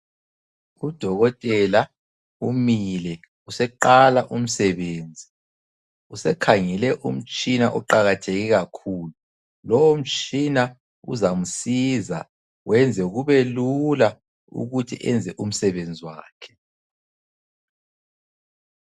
Udokotela umile useqala umsebenzi. Usekhangele umtshina oqakatheke kakhulu. Lowo mtshina uzamsiza wenze kube lula ukuthi enze umsebenzi wakhe.